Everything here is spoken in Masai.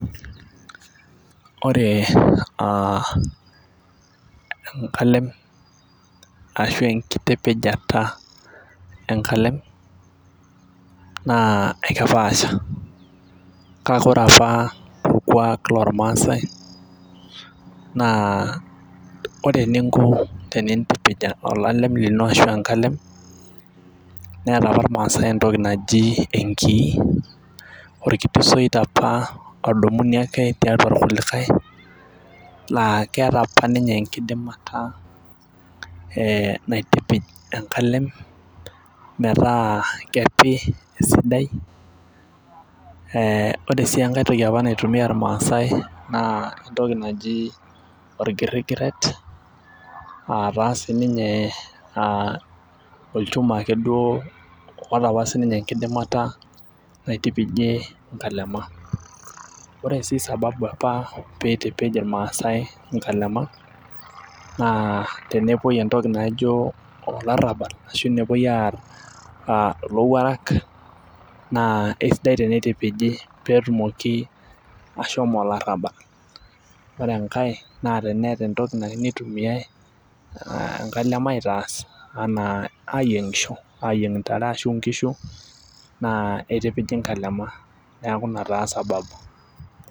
Ore aa enkalem ashu enkitipijata enkalem naa ekepaasha, kake ore apa orkuaak loormaasae naa ore eninko tenintipij olalem lino ashu enkalem, neeta apa irmaasae entoki naijo enkii. orkiti soit apa odumuni ake tiatua irkulikae naa keeta apa ninye enkidimata, ee naitipij enkalem, metaa kepi esidai, ee ore sii enkae toki apa naitumia irmaasae naa entoki naijo olgirigiret, aa taa sii ninye ee olchuma ake duo oota apa sii ninye enkidimata naitipijie nkalema. ore sii sababu apa pee eitipij irmaasae nkalema naa tenepuoi entoki naijo olarabal. Ashu nepuoi aar ilowuaraka naa esidai teneitipiji pee etumoki ashomo olarabal. ore enkae naa teneeta entoki nayieu nitumie aa enkalem aitaas anaa ayieng'isho aayieng' ntare ashu nkishu naa itipiji nkalema. neeku Ina taa sababu.